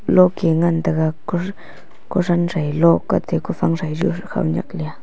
lok e ngan taiga ku kuthan sai lok ate kafang sai juh khaunyak lea.